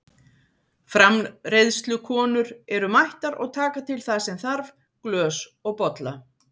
Framreiðslukonur eru mættar og taka til það sem með þarf, glös og bolla.